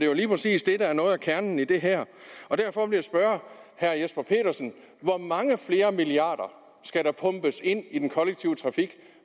jo lige præcis det der er noget af kernen i det her derfor vil jeg spørge herre jesper petersen hvor mange flere milliarder skal der pumpes ind i den kollektive trafik